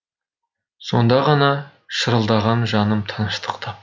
сонда ғана шырылдаған жаным тыныштық тапты